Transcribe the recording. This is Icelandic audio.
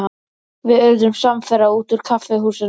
Við urðum samferða út úr kaffihúsinu.